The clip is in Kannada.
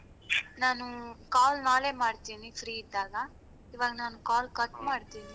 ನಾನು call ನಾಲೆ ಮಾಡ್ತೀನಿ free ಇದ್ದಾಗ ಈವಾಗ ನಾನ್ call ಮಾಡ್ತೇನೆ